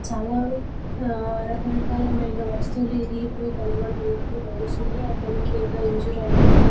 చాల ఆ రకరకాలమైన వస్తువులు ఇరిగిపోయి కనపడుతున్నట్టు తెలుస్తుంది. ఆ పిల్లకి ఏదో ఇంజురీ అయినట్టు కాన--